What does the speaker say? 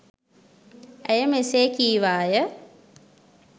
ඇය මෙසේ කීවාය.